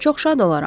Çox şad olaram.